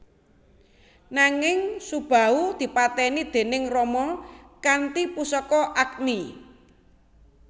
Nanging Subahu dipateni déning Rama kanthi pusaka Agni